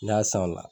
N'i y'a san o la